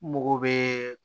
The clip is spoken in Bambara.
Mago bɛ